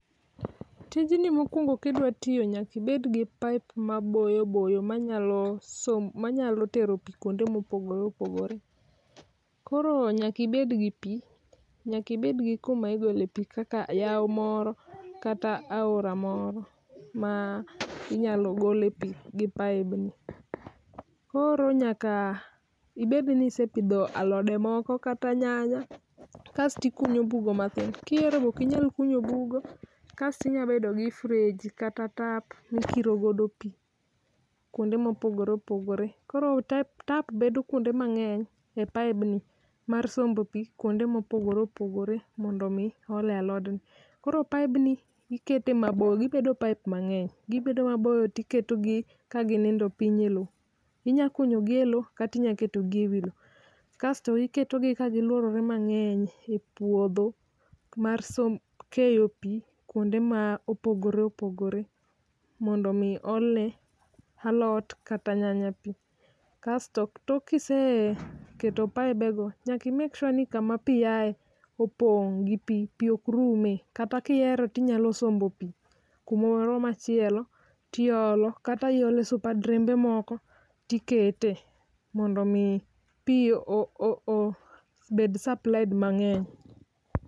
Tijni mokuongo kidwa tiyo nyaka ibed gi pipe maboyo boyo manyalo sombo, manyalo tero pii kuonde mopogore opogore. Koro nyaka ibed gi pii, nyaka ibed gi kuma igole pii kaka yao moro kata aora moro ma inyalo gole pii gi paib ni. Koro nyaka ibed ni isepidho alode moko kaata nyanya kaito ikunyo bugo matin, kihero be ok inyal kunyo bugo kasto inya bedo gi freji kata tap mikiro godo pii kuonde mopogore opogore, koro tap bedo ekuonde mang'eny e pipe ni mar sombo pii kuonde mopogore opogore mondo mi ole alod ni. Koro paibni ikete mabor, gibedo pipe mang'eny, gibedo maboyo to iketo gi ka ginindo piny e loo, inya kunyo gi e loo kata inya keto gi ewi loo kaito iketo gi ka giluorore mang'eny ei puodho mar keyo pii kuonde mopogore opogore mondo mi olne alot kata nyanya pii. Kaito tok kiseketo paibe go nyaka i make sure ni kama pii aye opong' gi pii, pii ok rume, kata kihero tinyalo sombo pii kumoro machielo tiolo kata iolo esupa drembe moko tikete mondo mi pii obed supplied mang'eny.